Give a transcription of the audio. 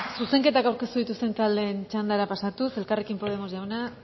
zuzenketak aurkeztu dituzten taldeen txandara pasatuz elkarrekin podemos